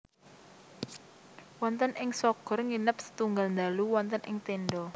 Wonten ing Shogor nginep setunggal dalu wonten ing tenda